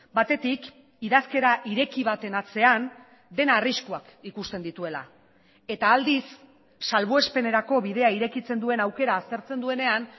batetik idazkera ireki baten atzean dena arriskuak ikusten dituela eta aldiz salbuespenerako bidea irekitzen duen aukera aztertzen duenean